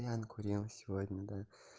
я накурилась сегодня да